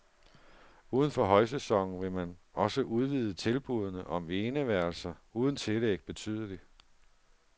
Uden for højsæsonen vil man også udvide tilbudene om eneværelser uden tillæg betydeligt.